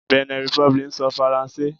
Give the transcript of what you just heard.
Benin Republic ń sọ Faransé.